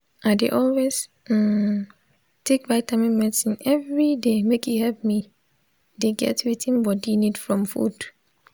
i dey always um take vitamin medicine everyday make e help me the get wetin body need from food